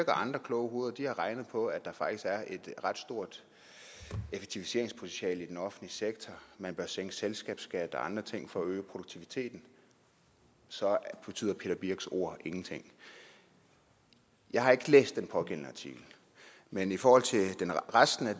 andre kloge hoveder har regnet på at der faktisk er et ret stort effektiviseringspotentiale i den offentlige sektor man bør sænke selskabsskat og andre ting for at øge produktiviteten så betyder peter birch sørensens ord ingenting jeg har ikke læst den pågældende artikel men i forhold til resten af